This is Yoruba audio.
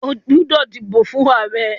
O gbódò dìbò fún ààrẹ!